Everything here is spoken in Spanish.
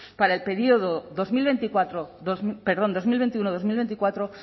para el periodo dos mil veinticuatro perdón dos mil veintiuno dos mil veinticuatro